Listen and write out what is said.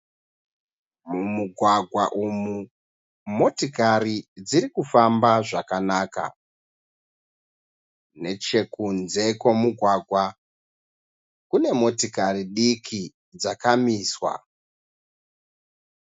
Mumugwagwa umu motokari dzirikufamba zvakanaka, nechekunze kwemugwagwa kune motikari diki dzakamiswa.